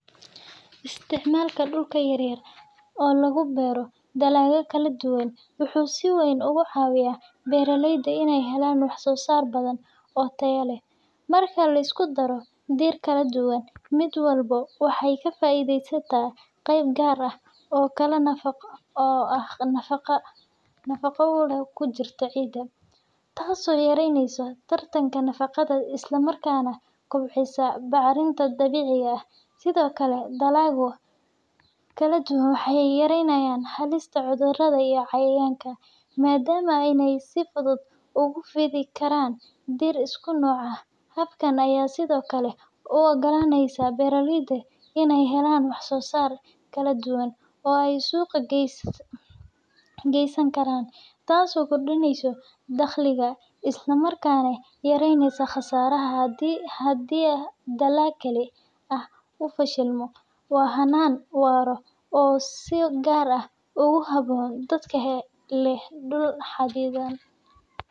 Isticmaalka dhul yar oo lagu beero dalagyo kala duwan wuxuu si weyn uga caawiyaa beeraleyda inay helaan wax-soo-saar badan oo tayo leh. Marka la isku daro dhir kala duwan, mid walba waxay ka faa’iidaysataa qayb gaar ah oo nafaqo ah oo ku jirta ciidda, taasoo yaraynaysa tartanka nafaqada isla markaana kobcisa bacrinta dabiiciga ah. Sidoo kale, dalagyo kala duwan waxay yareeyaan halista cudurrada iyo cayayaanka, maadaama aanay si fudud ugu fidi karin dhir isku nooc ah. Habkan ayaa sidoo kale u oggolaanaya beeraleyda in ay helaan wax-soo-saar kala duwan oo ay suuqa geysan karaan, taasoo kordhisa dakhliga isla markaana yaraysa khasaaraha haddii dalag keli ah uu fashilmo. Waa hannaan waara oo si gaar ah ugu habboon dadka leh dhul xaddidan.